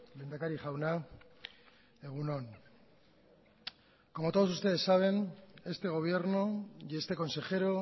lehendakari jauna egun on como todos ustedes saben este gobierno y este consejero